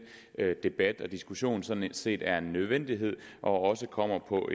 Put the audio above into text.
debat og diskussion sådan set er en nødvendighed og også kommer på